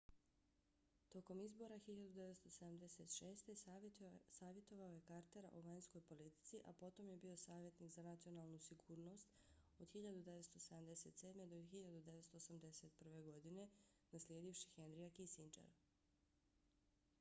tokom izbora 1976. savjetovao je cartera o vanjskoj politici a potom je bio savjetnik za nacionalnu sigurnost nsa od 1977. do 1981. godine naslijedivši henryja kissingera